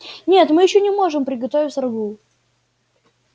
нет мы ещё не можем приготовить рагу